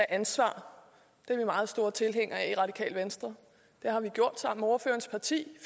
ansvar det er vi meget store tilhængere af i radikale venstre det har vi gjort sammen med ordførerens parti